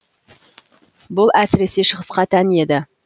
бұл әсіресе шығысқа тән еді